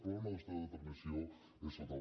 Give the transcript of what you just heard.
però la nostra determinació és total